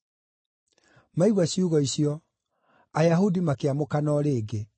Maigua ciugo icio, Ayahudi makĩamũkana o rĩngĩ.